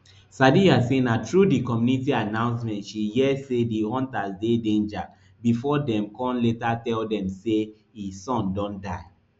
sadiya say na through di community announcement she hear say di hunters dey danger before dem con later tell dem say e son don die